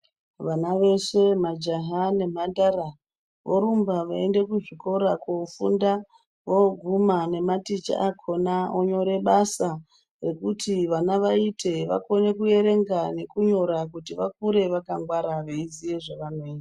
Vana veshe majaha nemhandara, vorumba veiende kuzvikora kofunda. Voguma nematicha akona vonyore basa rekuti vana vaite vakone kuerenga nekunyo kuti vakure vakangwara veiziye zvavanoita.